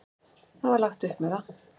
Það var lagt upp með það.